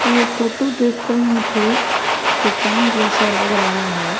ये फोटो देखकर मुझे दुकान जैसा लग रहा है।